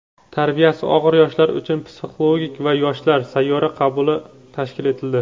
tarbiyasi og‘ir yoshlar uchun "Psixolog va yoshlar" sayyor qabuli tashkil etildi.